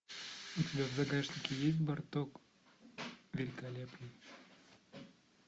у тебя в загашнике есть барток великолепный